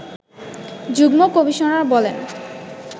যুগ্ম কমিশনার বলেন